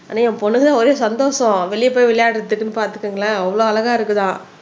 ஆனா என் பொண்ணுங்க ஒரே சந்தோஷம் வெளிய போய் விளையாடுறதுக்குன்னு பாத்துக்கோங்களேன் அவ்ளோ அழகா இருக்குதாம்